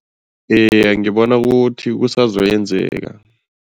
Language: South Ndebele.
Eya, ngibona ukuthi kusazoyenzeka.